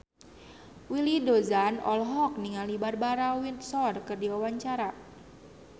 Willy Dozan olohok ningali Barbara Windsor keur diwawancara